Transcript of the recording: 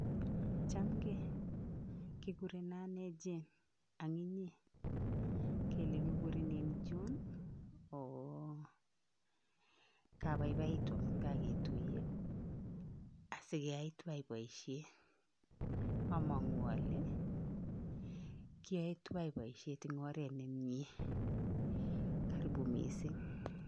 Chamgei? Kikureno ane Jane ang inye, kele kikurenin John? ooh kabaibaitu amun kaketuiye, asikeyai tuwai boisiet, amangu ale kioe tuwai boisiet eng oret ne mie, karibu mising.